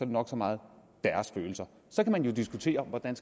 nok så meget deres følelser så kan man jo diskutere hvordan